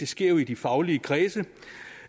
sker i de faglige kredse